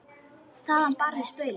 Þaðan barst baulið.